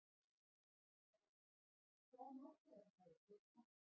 Vakur, hvaða mánaðardagur er í dag?